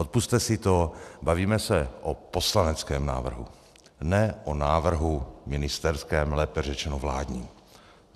Odpusťte si to, bavíme se o poslaneckém návrhu, ne o návrhu ministerském, lépe řečeno vládním.